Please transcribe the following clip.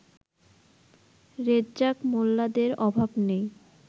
রেজ্জাক মোল্লাদের অভাব নেই